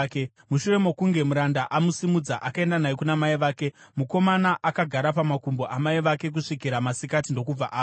Mushure mokunge muranda amusimudza, akaenda naye kuna mai vake, mukomana akagara pamakumbo amai vake kusvikira masikati, ndokubva afa.